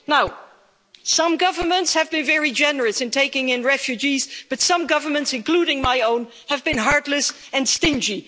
Now, some governments have been very generous in taking in refugees, but some governments, including my own, have been heartless and stingy.